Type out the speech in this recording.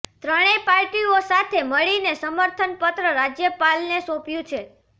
ત્રણેય પાર્ટીઓ સાથે મળીને સમર્થન પત્ર રાજ્યપાલને સોંપ્યું છે